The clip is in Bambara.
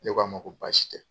Ne ko a ma ko baasi tɛ.